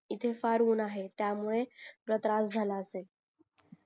इथे फार ऊन आहे त्यामुळे तुला त्रास झाला असेल